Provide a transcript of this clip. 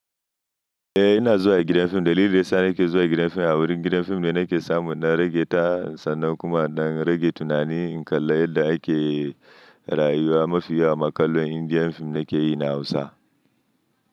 Eh ina zuwa gidan fim, dalilin da yana yake zuwa gidan fim a wurin gidan fim ne nake samu na rage ta, sannan kuma na rage tunani. In kalla yadda ake rayuwa mafi yawa makallon Indian fim nake yi na Hausa.